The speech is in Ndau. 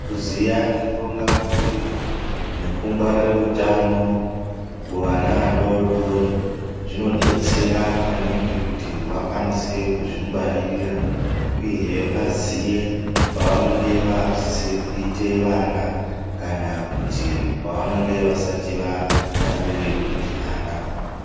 Kuziya zvekuronga mhuri nekungwarira utano kuvana vadoodori zvinodetsera maningi kuti vakwanise kuzvingwarira uyehe vaziye pavanenge vakusise kuite vana kana kuti pavanenge vasati vafanire kuite vana.